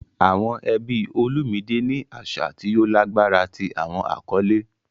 Awọn ẹbi Olumide ni aṣa ti o lagbara ti awọn akọle.